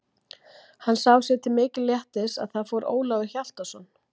Hann sá sér til mikils léttis að þar fór Ólafur Hjaltason.